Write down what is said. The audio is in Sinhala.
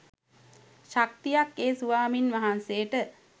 ශක්තියක් ඒ ස්වාමීන් වහන්සේට